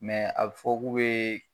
a bi fɔ k'u be